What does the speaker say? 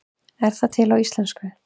Er það til á íslensku?